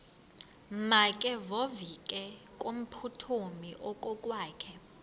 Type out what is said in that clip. makevovike kumphuthumi okokwakhe